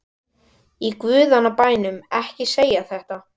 Í guðanna bænum ekki segja þetta.